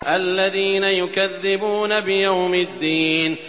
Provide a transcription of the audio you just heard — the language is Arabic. الَّذِينَ يُكَذِّبُونَ بِيَوْمِ الدِّينِ